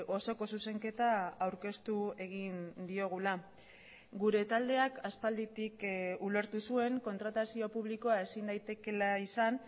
osoko zuzenketa aurkeztu egin diogula gure taldeak aspalditik ulertu zuen kontratazio publikoa ezin daitekeela izan